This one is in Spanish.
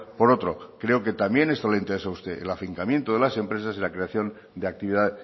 por otro creo que también eso le interesa a usted el afincamiento de las empresas y la creación de actividad